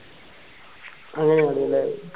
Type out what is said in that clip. അങ്ങനെയാണ്ല്ലേ